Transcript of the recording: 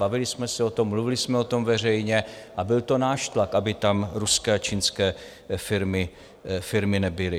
Bavili jsme se o tom, mluvili jsme o tom veřejně a byl to náš tlak, aby tam ruské a čínské firmy nebyly.